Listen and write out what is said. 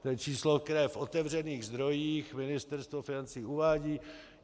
To je číslo, které v otevřených zdrojích Ministerstvo financí uvádí.